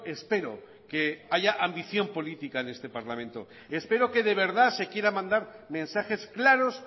espero que haya ambición política en este parlamento espero que de verdad se quiera mandar mensajes claros